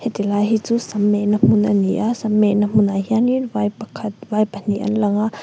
ti lai hi chu sam mehna hmun a ni a sam mehna hmun ah hianin vai pakhat vai pahnih an langa.